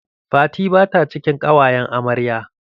Fati ba ta cikin ƙawayan amarya.